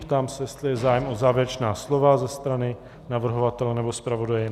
Ptám se, jestli je zájem o závěrečná slova ze strany navrhovatele nebo zpravodaje.